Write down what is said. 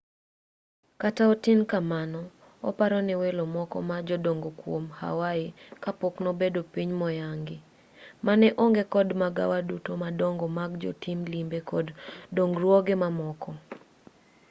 kata otin kamano oparo ne welo moko ma jodongo kwom hawaii kapok nobedo piny moyangi mane onge kod magawa duto madongo mag jotim limbe kod dongruoge mamoko